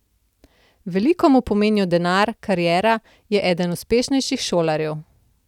Veliko mu pomenijo denar, kariera, je eden uspešnejših šolarjev.